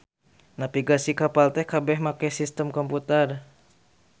Navigasi kapal teh kabeh make sistem komputer.